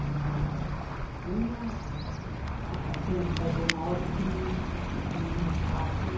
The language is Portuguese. Mas tinha, ah sim a gente fazia uma hortinha, porque tinha um espaço lá.